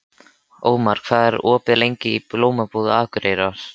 Ómar, hvað er opið lengi í Blómabúð Akureyrar?